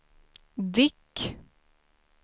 Dick